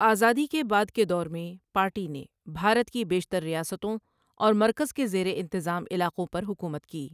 آزادی کے بعد کے دور میں پارٹی نے بھارت کی بیشتر ریاستوں اور مرکز کے زیر انتظام علاقوں پر حکومت کی۔